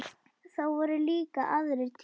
Það voru líka aðrir tímar.